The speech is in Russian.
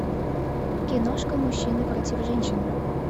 киношка мужчины против женщин